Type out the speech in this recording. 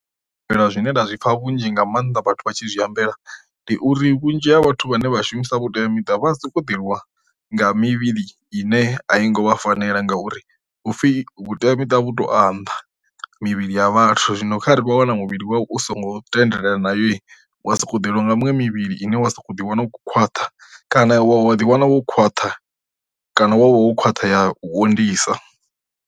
Zwine nda zwipfha vhunzhi nga maanḓa vhathu vha tshi zwihambela ndi uri vhunzhi ha vhathu vhane vha shumisa vhuteamiṱa vha soko ḓivhiwa nga mivhili ine a i ngo vha fanela ngauri upfhi vhuteamita vhu to a nnḓa mivhili ya vhathu, zwino kha re vha wana muvhili wawe u songo tendelana nayo wa sokou ḓeliwa nga muṅwe mivhili ine wa sokou ḓiwana u khwaṱha kana wa ḓi wana wo khwaṱha kana wa vha wo khwaṱha ya u onḓisa.